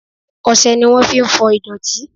Ọsẹ ni wọn fi ń fọ ìdọ̀tí